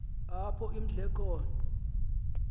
apho imdle khona